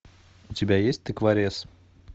у тебя есть тыкворез